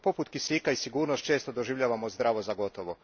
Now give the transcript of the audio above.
No, poput kisika, i sigurnost često doživljavamo zdravo za gotovo.